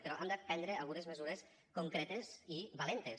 però hem de prendre algunes mesures concretes i valentes